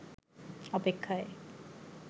অপেক্ষায়